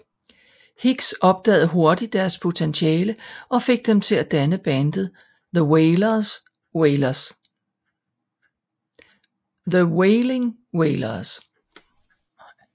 Higgs opdagede hurtigt deres potentiale og fik dem til at danne bandet The Wailing Wailers